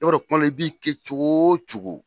i b'a tuma dɔw i b'i kɛ cogo o cogo